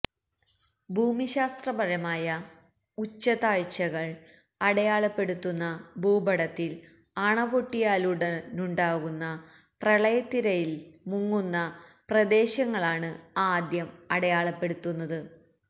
ഭൂമിശാസ്ത്രപരമായ ഉച്ചതാഴ്ചകള് അടയാളപ്പെടുത്തുന്ന ഭൂപടത്തില് അണപൊട്ടിയാലുടനുണ്ടാകുന്ന പ്രളയത്തിരയില് മുങ്ങുന്ന പ്രദേശങ്ങളാണ് ആദ്യം അടയാളപ്പെടുത്തുന്നത്